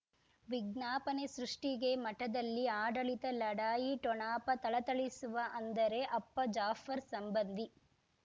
ವಿಜ್ಞಾಪನೆ ಸೃಷ್ಟಿಗೆ ಮಠದಲ್ಲಿ ಆಡಳಿತ ಲಢಾಯಿ ಠೊಣಪ ಥಳಥಳಿಸುವ ಅಂದರೆ ಅಪ್ಪ ಜಾಫರ್ ಸಂಬಂಧಿ